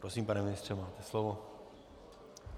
Prosím pane ministře, máte slovo.